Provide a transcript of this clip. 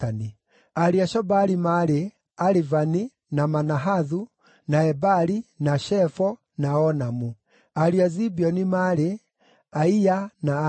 Ariũ a Shobali maarĩ: Alivani, na Manahathu, na Ebali, na Shefo, na Onamu. Ariũ a Zibeoni maarĩ: Aia na Ana.